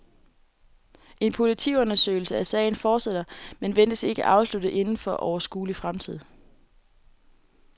En politiundersøgelse af sagen fortsætter, men ventes ikke afsluttet inden for overskuelig fremtid.